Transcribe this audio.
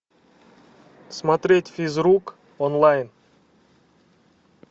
смотреть физрук онлайн